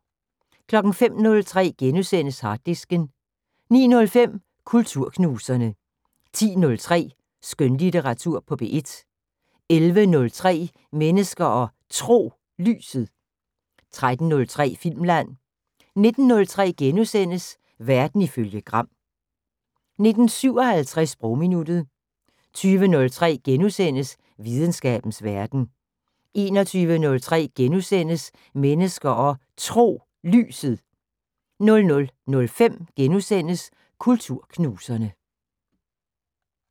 05:03: Harddisken * 09:05: Kulturknuserne 10:03: Skønlitteratur på P1 11:03: Mennesker og Tro: Lyset 13:03: Filmland 19:03: Verden ifølge Gram * 19:57: Sprogminuttet 20:03: Videnskabens Verden * 21:03: Mennesker og Tro: Lyset * 00:05: Kulturknuserne *